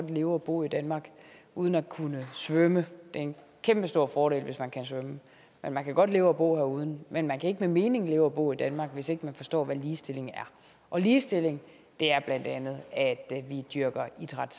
leve og bo i danmark uden at kunne svømme det er en kæmpestor fordel hvis man kan svømme men man kan godt leve og bo her uden at kunne men man kan ikke med mening leve og bo i danmark hvis ikke man forstår hvad ligestilling er og ligestilling er bla at vi dyrker idræt